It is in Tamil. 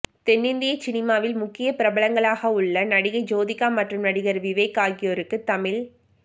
தென்னிந்திய சினிமாவில் முக்கிய பிரபலங்களாகவுள்ள நடிகை ஜோதிகா மற்றும் நடிகர் விவேக் அகியோருக்கு தமிழ்